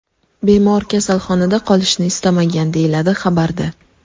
Bemor kasalxonada qolishni istamagan”, deyiladi xabarda.